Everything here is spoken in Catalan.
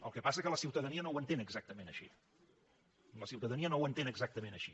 el que passa és que la ciutadania no ho entén exactament així la ciutadania no ho entén exactament així